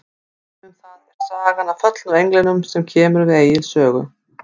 Dæmi um það er sagan af föllnu englunum sem kemur við Egils sögu.